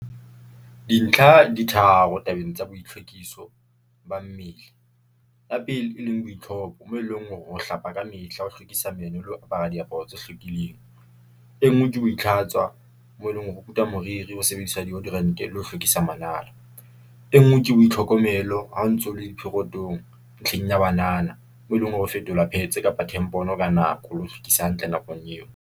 Dintlha di tharo tabeng tsa boitlhwekiso ba mmele, ya pele e leng boitlhopo, moo e leng hore o hlapa ka mehla, ho hlwekisa meno le ho apara diaparo tse hlwekileng. E nngwe ke ho itlhatswa moo e leng hore o kuta moriri ho sebediswa deodorant-e le ho hlwekisa manala. E nngwe ke boitlhokomelo ha o ntse o le di-period-ong ntlheng ya banana. Mo eleng hore ho fetolwa pad-tse kapa tempon-o ka nako le ho hlwekisa hantle nakong eo.